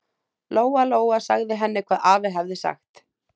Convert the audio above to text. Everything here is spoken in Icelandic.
Lóa-Lóa sagði henni hvað afi hafði sagt.